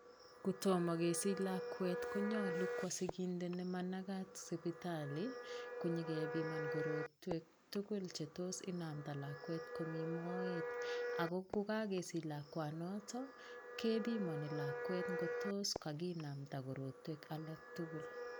Kotomo kesich lakwet konyolu kwo siginde nemanakat sipitali konyokebiman korotwek tukuk chetos inamda lakwet komii moet kokokesich lakwanoton kebimoni lakwet kotos kakinamda korotwek alektukul.